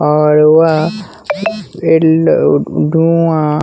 और वह धुंआ--